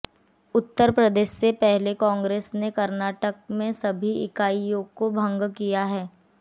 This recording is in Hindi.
उत्तर प्रदेश से पहले कांग्रेस ने कर्नाटक में सभी इकाईयों को भंग किया था